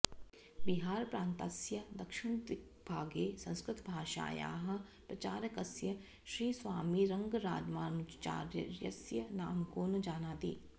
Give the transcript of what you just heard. बिहारप्रान्तस्य दक्षिणदिग्भागे संस्कृतभाषायाः प्रचारकस्य श्रीस्वामिरङ्गरामानुजाचार्यस्य नाम को न जानाति